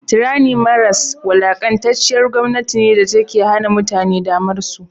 tranny maras da a da wulakantacciyar gomnati ne datake ke Hana mutane damarsu